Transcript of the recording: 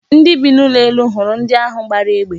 Ndị bi n'ụlọ elu hụrụ ndi ahụ gbara egbe.